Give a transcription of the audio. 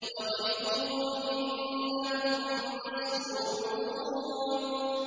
وَقِفُوهُمْ ۖ إِنَّهُم مَّسْئُولُونَ